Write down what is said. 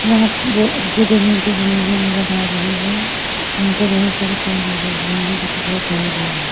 यहाँ पे वो जे भी मूर्ति बनी हुई नज़र आ रही है यहाँ पर बहोत सारे पेड़ लगे हुए हैं जो कि बहोत बड़े बड़े है।